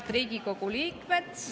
Head Riigikogu liikmed!